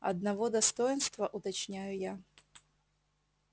одного достоинства уточняю я